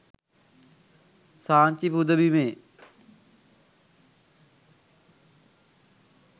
Sanchi පුදබිමේ